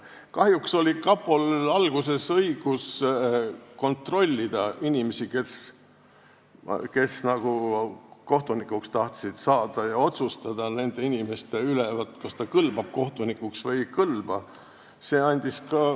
Kahjuks oli kapol alguses õigus kontrollida inimesi, kes kohtunikuks tahtsid saada, ja otsustada, kas nad kõlbavad kohtunikuks või ei.